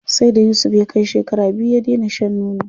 Sai da Yusuf ya kai shekara biyu ya dena shan nono.